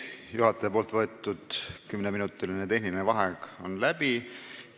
Juhataja võetud kümneminutiline tehniline vaheaeg on läbi.